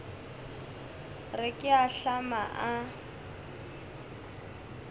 re ke a ahlama a